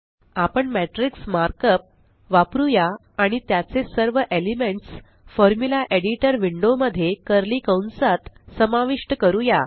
आपण matrix markup वापरुया आणि त्याचे सर्व एलिमेंट्स फॉर्म्युला एडिटर विंडो मध्ये कर्ली कंसात समाविष्ट करूया